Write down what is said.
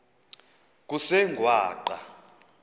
kusengwaqa